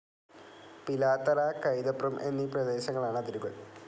പിലാത്തറ, കൈതപ്രം എന്നീ പ്രദേശങ്ങളാണ്‌ അതിരുകൾ